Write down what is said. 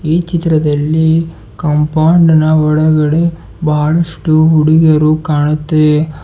ಈ ಚಿತ್ರದಲ್ಲಿ ಕಾಂಪೌಂಡ್ ನ ಒಳಗಡೆ ಬಹಳಷ್ಟು ಹುಡುಗಿಯರು ಕಾಣುತ್ತೆ.